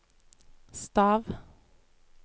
stav